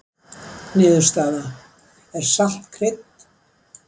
Niðurstaða: Er salt krydd?